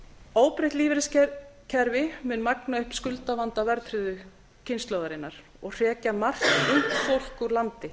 óbreytt lífeyriskerfi mun magna upp skuldavanda verðtryggðu kynslóðarinnar og hrekja margt ungt fólk úr landi